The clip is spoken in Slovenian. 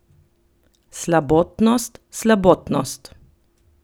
Slabotnost, slabotnost.